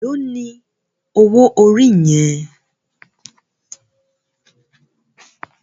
Éló ni ówó óri yèn?